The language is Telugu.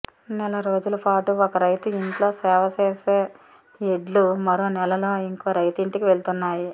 నెల రోజులపాటు ఒక రైతు ఇంట్లో సేవ చేసే ఎడ్లు మరో నెలలో ఇంకో రైతింటికి వెళ్తున్నాయి